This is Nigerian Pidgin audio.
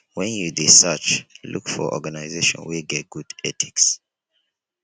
when you dey search look for organization wey get good ethics